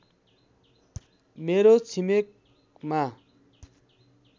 मेरो छिमेकमा